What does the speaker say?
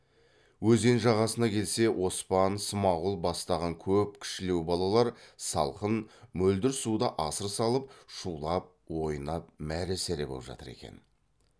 өзен жағасына келсе оспан смағұл бастаған көп кішілеу балалар салқын мөлдір суда асыр салып шулап ойнап мәре сәре боп жатыр екен